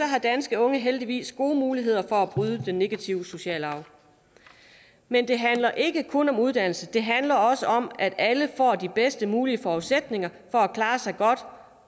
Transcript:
har danske unge heldigvis gode muligheder for at bryde den negative sociale arv men det handler ikke kun om uddannelse det handler også om at alle får de bedst mulige forudsætninger for at klare sig godt